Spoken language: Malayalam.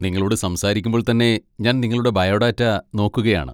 നിങ്ങളോട് സംസാരിക്കുമ്പോൾ തന്നെ ഞാൻ നിങ്ങളുടെ ബയോഡാറ്റ നോക്കുകയാണ്.